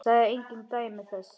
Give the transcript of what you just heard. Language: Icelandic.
Sagði engin dæmi þess.